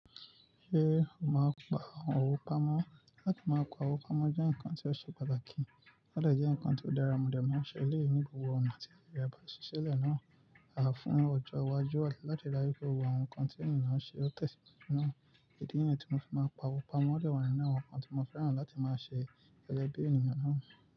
Ṣé o máa ń pa àwọn òwú pamọ́? Látí máa pa òwú pamọ́ jẹ́ ǹkan tí ó ṣe pataki, o dẹ jẹ́ ǹkan tó dára, mòdè máa ń dẹ̀ ma n ṣe eléyìí ní gbogbo ọ̀nà tí ìyá ba ṣi ṣilẹ̀ náà, àfún ọjọ́ iwájú àti láti ráyè pé àwọn ǹkan tí ènìyàn náà ṣe ó tẹ̀ náà. Idi nìyẹn tí mo fi máa ń pa òwú pamọ́ dẹ̀ wọ́n nínú àwọn ǹkan tí mo fẹ́ràn láti máa ṣe tẹ́lẹ̀ bí ènìyàn náà.